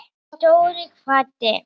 Dóri kvaddi.